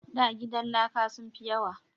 Da gidan laka sun fi yawa